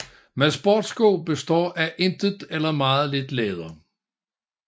Men sportssko består af intet eller meget lidt læder